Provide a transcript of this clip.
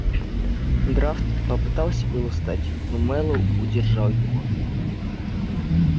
драфт попытался было встать но мэллоу удержал его